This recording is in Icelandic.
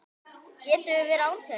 Við getum verið án þeirra.